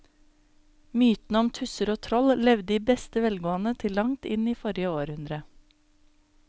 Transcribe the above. Mytene om tusser og troll levde i beste velgående til langt inn i forrige århundre.